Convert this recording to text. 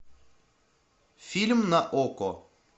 фильм на окко